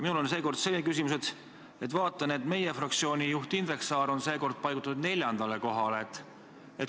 Minul tekkis nüüd küsimus, kuna ma näen, et meie fraktsiooni juht on seekord paigutatud neljandale kohale.